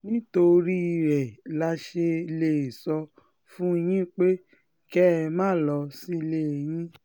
nítorí ẹ la ṣe um lè sọ fún yín pé um kẹ́ ẹ máa lọ sílé yín